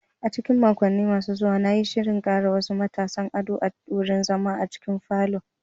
A cikin makonni masu zuwa, na yi shirin ƙara wasu matashin ado a wurin zama a cikin falon.